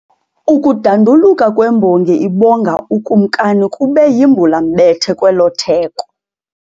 Ukudanduluka kwembongi ibonga ukumkani kube yimbulambethe kwelo theko.